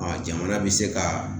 jamana be se ka